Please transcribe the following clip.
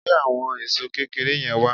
Gbé àwọn èṣó kékeré yẹn wá